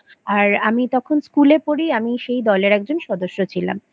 আর আমি তখন School আ পড়ি আমি সেই দলের একজন সদস্য ছিলাম I